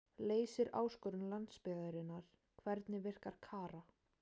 Leysir áskorun landsbyggðarinnar Hvernig virkar Kara?